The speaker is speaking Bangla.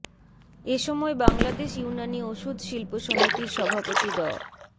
এ সময় বাংলাদেশ ইউনানি ওষুধ শিল্প সমিতির সভাপতি ড